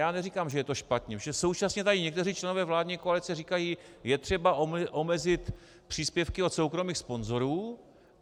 Já neříkám, že je to špatně, protože současně tady někteří členové vládní koalice říkají: Je třeba omezit příspěvky od soukromých sponzorů.